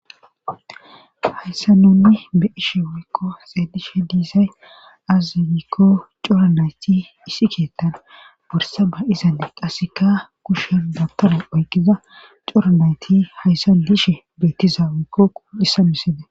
Hayssa nunni be ishe wiikko xeedishe diisay azagikko coranayti isi keettan borsa ba izane qasseka kushen gabtare oyqiza coranayti hayssa dishe beetizaawikkoku hissamisede.